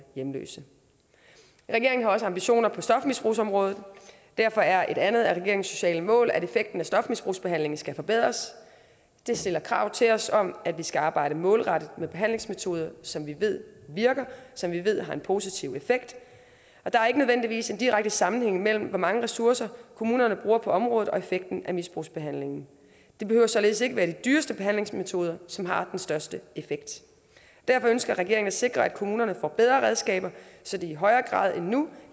hjemløse regeringen har også ambitioner på stofmisbrugsområdet og derfor er et andet af regeringens sociale mål at effekten af stofmisbrugsbehandlingen skal forbedres det stiller krav til os om at vi skal arbejde målrettet med behandlingsmetoder som vi ved virker som vi ved har en positiv effekt og der er ikke nødvendigvis en direkte sammenhæng mellem hvor mange ressourcer kommunerne bruger på området og effekten af misbrugsbehandlingen det behøver således ikke at være de dyreste behandlingsmetoder som har den største effekt derfor ønsker regeringen at sikre at kommunerne får bedre redskaber så de i højere grad end nu